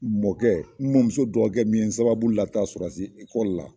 Mɔkɛ n mɔmuso dɔgɔkɛ min ye n sababu lataa sɔrɔsi ekɔli la.